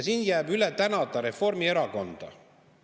Siin jääb üle tänada Reformierakonda.